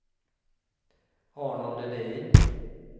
Arnold Edin